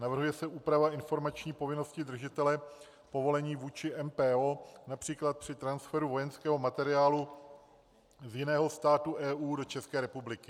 Navrhuje se úprava informační povinnosti držitele povolení vůči MPO, například při transferu vojenského materiálu z jiného státu EU do České republiky.